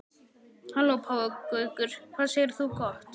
Halló páfagaukur, hvað segir þú gott?